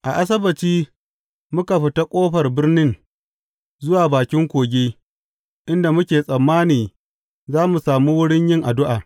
A Asabbaci, muka fita ƙofar birnin zuwa bakin kogi, inda muke tsammani za mu sami wurin yin addu’a.